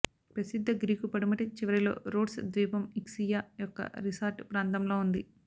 ప్రసిద్ధ గ్రీకు పడమటి చివరిలో రోడ్స్ ద్వీపం ఇక్సియా యొక్క రిసార్ట్ ప్రాంతంలో ఉంది